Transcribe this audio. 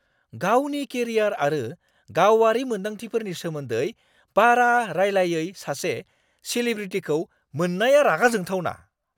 गावनि केरियार आरो गावारि मोन्दांथिफोरनि सोमोन्दै बारा रायलायै सासे सेलेब्रिटीखौ मोननाया रागा जोंथावना।